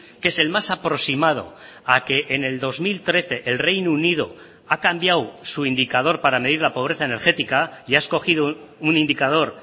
que es el más aproximado a que en el dos mil trece el reino unido ha cambiado su indicador para medir la pobreza energética y ha escogido un indicador